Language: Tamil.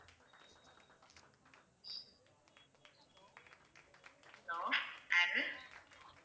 hello யாரு?